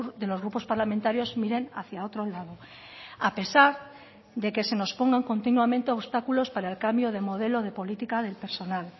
de los grupos parlamentarios miren hacia otro lado a pesar de que se nos pongan continuamente obstáculos para el cambio de modelo de política del personal